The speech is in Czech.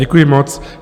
Děkuji moc.